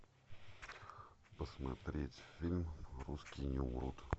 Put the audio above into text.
посмотреть фильм русские не умрут